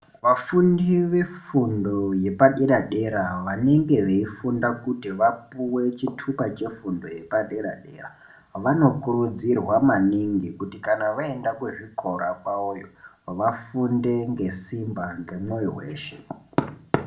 Vafundi vefundo yepadera dera vanenge veifunda kuti vapuwe chitupa chefundo yepadera dera vanokurudzirwa maningi kuti kana vaenda kuzvikora kwavoyo vafunde ngesimba ngemwoyo weshe.